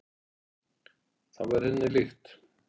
Það væri henni líkt.